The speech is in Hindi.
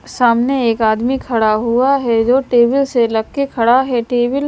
सामने एक आदमी खड़ा हुआ है जो टेबिल से लग के खड़ा है टेबिल --